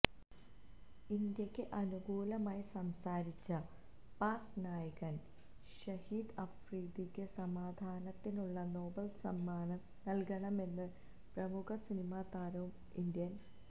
ഇന്ത്യയ്ക്ക് അനുകൂലമായി സംസാരിച്ച പാക്ക് നായകന് ഷഹിദ് അഫ്രീദിക്ക് സമാധാനത്തിനുള്ള നോബല് സമ്മാനം നല്കണമെന്ന് പ്രമുഖ സിനിമാ താരവും ഇന്ത്യന്